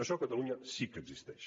això a catalunya sí que existeix